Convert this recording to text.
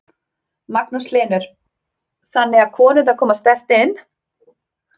Magnús Hlynur: Þannig að konurnar koma sterkt inn?